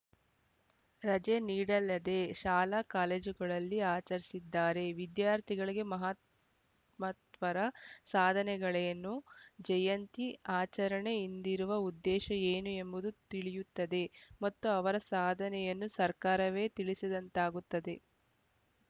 ರಜೆ ನೀಡಲದೆ ಶಾಲಾಕಾಲೇಜುಗಳಲ್ಲಿ ಆಚರಿಸಿದರೆ ವಿದ್ಯಾರ್ಥಿಳಿಗೆ ಮಹಾತ್ ಮಹಾತ್ಮರ ಸಾಧನೆಗಳೇನು ಜಯಂತಿ ಆಚರಣೆ ಹಿಂದಿರುವ ಉದ್ದೇಶ ಏನು ಎಂಬುದು ತಿಳಿಯುತ್ತದೆ ಮತ್ತು ಅವರ ಸಾಧನೆಯನ್ನು ಸರ್ಕಾರವೇ ತಿಳಿಸಿದಂತಾಗುತ್ತದೆ